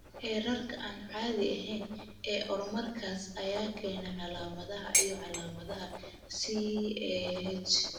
Heerarka aan caadiga ahayn ee hoormoonkaas ayaa keena calaamadaha iyo calaamadaha CAH.